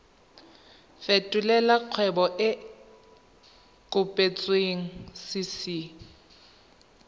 fetolela kgwebo e e kopetswengcc